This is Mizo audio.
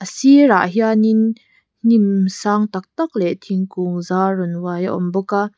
a sirah hianin hnim sang taktak leh thingkung zar rawn uai a awm bawk a.